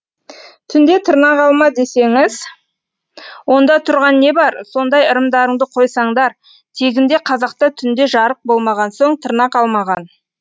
түнде тырнақ алма десеңіз онда тұрған не бар сондай ырымдарыңды қойсаңдар тегінде қазақта түнде жарық болмаған соң тырнақ алмаған